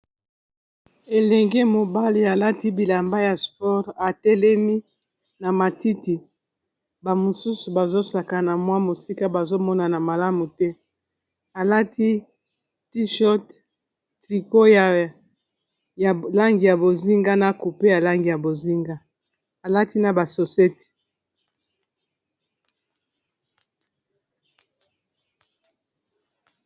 Elenge mobali alati bilamba ya sport atelemi na matiti ba mosusu bazosakana mwa mosika bazomonana malamu te alati t short tricot ya langi ya bozinga na coupe ya langi ya bozinga alati na basosete.